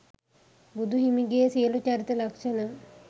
බුදු හිමිගේ සියලු චරිත ලක්ෂණ